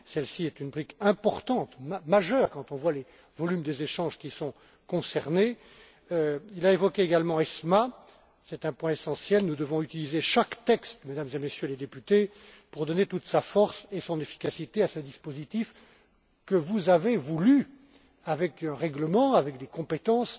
Nous avons ici une brique importante, majeure, quand on voit les volumes des échanges qui sont concernés. Il a également évoqué l'ESMA. C'est un point essentiel, nous devons utiliser chaque texte, Mesdames et Messieurs les députés, pour donner toute sa force et son efficacité à ce dispositif que vous avez voulu avec un règlement, avec des compétences